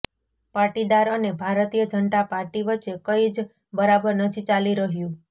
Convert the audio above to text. પાટીદાર અને ભારતીય જનતા પાર્ટી વચ્ચે કઈ જ બરાબર નથી ચાલી રહ્યું